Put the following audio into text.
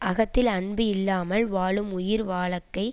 அகத்தில் அன்பு இல்லாமல் வாழும் உயிர் வாழக்கை